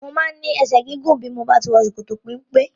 Mo máa ń ní ẹsẹ̀ gígùn bí mo bá ti wọ ṣòkòtò-peńpe.